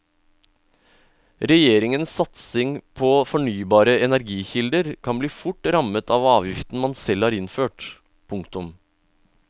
Regjeringens satsing på fornybare energikilder kan bli fort rammet av avgiften man selv har innført. punktum